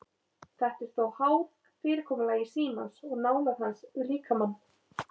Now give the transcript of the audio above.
Þetta er þó háð fyrirkomulagi símans og nálægð hans við líkamann.